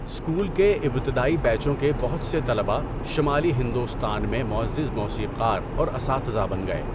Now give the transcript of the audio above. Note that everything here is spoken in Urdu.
اسکول کے ابتدائی بیچوں کے بہت سے طلباء شمالی ہندوستان میں معزز موسیقار اور اساتذہ بن گئے۔